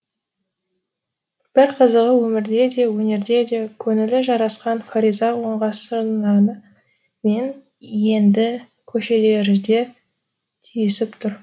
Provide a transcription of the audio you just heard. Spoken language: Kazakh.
бір қызығы өмірде де өнерде де көңілі жарасқан фариза оңғарсынова мен енді көшелері де түйісіп тұр